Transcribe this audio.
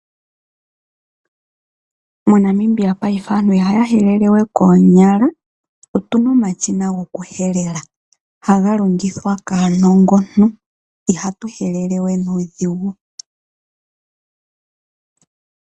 MoNamibia payife aantu ihaya helele we koonyala , otuna omashina goku helela. Haga longithwa kaanongontu ihatu helelewe nuudhingu